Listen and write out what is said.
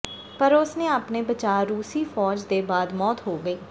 ਪਰ ਉਸ ਨੇ ਆਪਣੇ ਬਚਾਅ ਰੂਸੀ ਫ਼ੌਜ ਦੇ ਬਾਅਦ ਮੌਤ ਹੋ ਗਈ